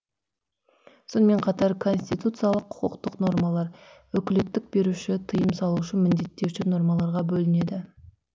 сонымен қатар конституциялық құқықтық нормалар өкілеттік беруші тыйым салушы міндеттеуші нормаларға бөлінеді